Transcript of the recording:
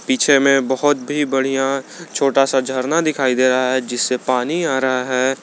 पीछे में बहोत भी बढ़िया छोटा सा झरना दिखाई दे रहा है जिससे पानी आ रहा है।